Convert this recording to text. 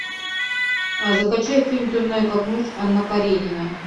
закачай фильм темная как ночь анна каренина